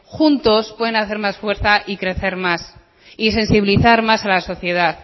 juntos pueden hacer más fuerza y crecer más y sensibilizar más a la sociedad